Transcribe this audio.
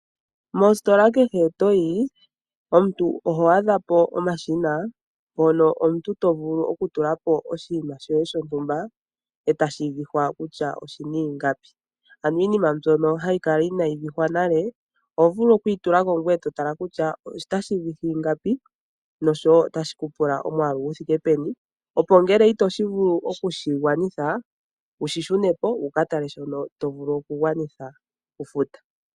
Mositola kehe to yi omuntu oho adha po omashina mpono omuntu to vulu okutula po oshinima shoye shontumba e tashi vihwa kutya oshi na ingapi. Ano iinima mbyono hayi kala inayi vihwa nale oho vulu oku yi tula ko ngoye to tala kutya otashi vihi ingapi nosho wo otashi ku pula omwaalu gu thike peni, opo ngele itoshi vulu oku shi gawanitha wu shi shune po wu ka tale shono to vulu okugwanitha okufuta.